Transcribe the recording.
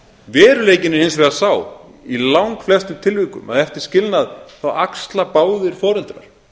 veruleikinn er hins vegar sá í langflestum tilvikum að eftir skilnað þá axla báðir foreldrar